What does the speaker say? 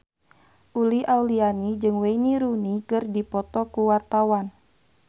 Uli Auliani jeung Wayne Rooney keur dipoto ku wartawan